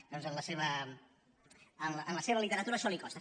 doncs en la seva literatura això li costa